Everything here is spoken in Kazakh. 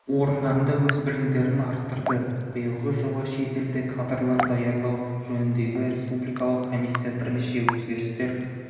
орындарында өз білімдерін арттырды биылғы жылы шет елде кадрлар даярлау жөніндегі республикалық комиссия бірнеше өзгерістер